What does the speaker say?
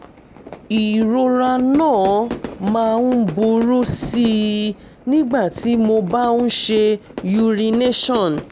ìrora náà máa ń burú sí i nígbà tí mo bá ń ṣe ì urination